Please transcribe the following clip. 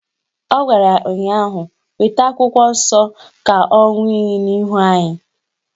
Ọ gwara ya ụnyaahụ "Weta akwụkwọ nsọ ka ọ ṅụọ iyi n'ihu anyị"